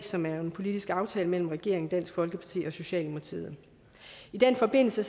som er en politisk aftale mellem regeringen dansk folkeparti og socialdemokratiet i den forbindelse